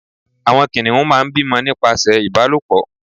àwọn kìnìún má n bímọ nípasẹ ìbálòpọ̀